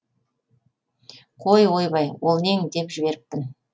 қой ойбай ол нең деп жіберіппін